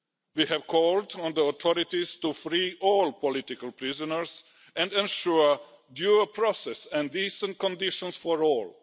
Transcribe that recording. We have called on the authorities to free all political prisoners and ensure due process and decent conditions for all.